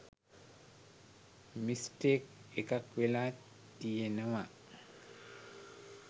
mistake එකක් වෙලා තියෙනව